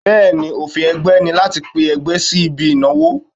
Bẹ́ẹ̀ni, òfin ẹgbẹ́ ni láti pe ẹgbẹ́ sí ibi ìnáwó.